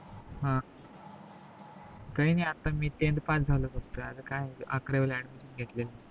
काय नाही आता मी tenth pass झालो फक्त आता काय अकरावीला admission घेतली